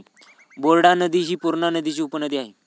Board नदी हि पूर्णा नदीची उपनदी आहे.